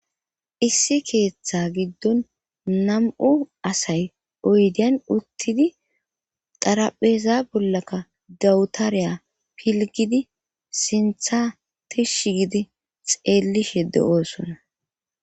Issi keeththa giddon nam7u asay oydiyan uttidi xarapheeza bollakka dawutariya pilgidi sintha tish gidi xeellishe de7oosona.